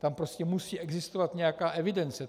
Tam prostě musí existovat nějaká evidence.